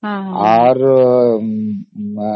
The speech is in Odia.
ଯେତେ ଜିନିଷ ଅଛି government ର